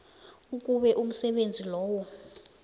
ukube umsebenzi loyo